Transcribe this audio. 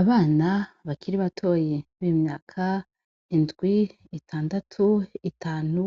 Abana bakiri batoyi b'imyaka indwi, itandatu, itanu